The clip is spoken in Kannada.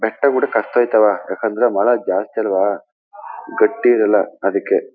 ಮರ ಜಾಸ್ತಿ ಅಲ್ವ ಗಟ್ಟಿ ಇರಲ್ಲ ಅದಿಕ್ಕೆ.